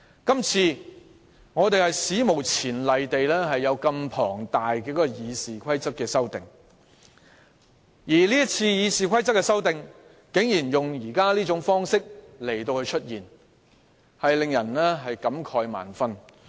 這次，議員史無前例地對《議事規則》提出大量修訂，而議員為修訂《議事規則》，竟然採用這種方式，出現這情況，真的教人感慨萬分。